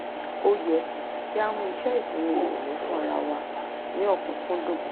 ó yẹ kí a mú ìṣe ìsinmi ìrọ̀lẹ́ fún ara wa ní ọ̀kúnkúndùn